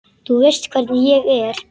Þú veist hvernig ég er.